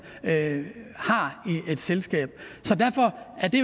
har i et selskab så derfor er det